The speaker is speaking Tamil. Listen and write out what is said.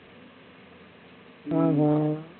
ஹம் ஹம்